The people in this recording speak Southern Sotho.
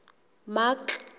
mark